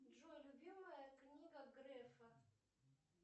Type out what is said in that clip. джой любимая книга грефа